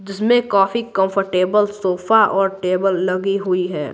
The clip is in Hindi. जिसमें काफी कंफर्टेबल सोफा और टेबल लगी हुई है।